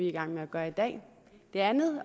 i gang med at gøre i dag det andet